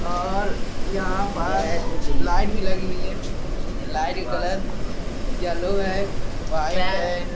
और यहां लाइट भी लगी हुई है। लाइट का कलर येलो है। वायर्स है।